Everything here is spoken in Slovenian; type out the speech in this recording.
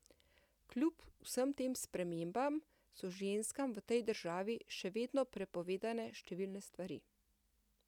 Kljub vsem tem spremembam so ženskam v tej državi še vedno prepovedane številne stvari.